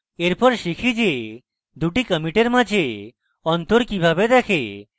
এরপর শিখি যে দুটি কমিটের মাঝে অন্তর কিভাবে দেখে